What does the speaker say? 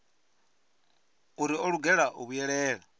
uri o lugela u vhuyelela